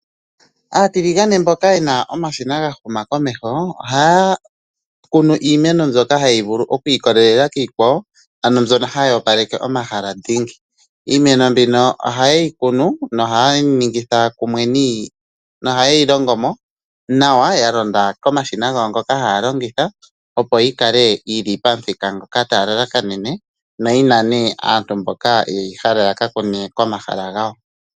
Aatiligane mboka yena omashina ga huma komeho, ohaa kunu iimeno mbyoka hayi vulu okwiikololela kiikwawo, ano mbyono hayi opaleke omahala dhingi. Iimeno mbyoka ohaye yi kunu nohayeyi longo mo nawa, ya longwa komashina gawo ngoka haa longitha, opo yikale yili pamuthika mboka taa lalakanene, na oyina nduno aantu mboka yeyi hala ya kakune komahala gawo.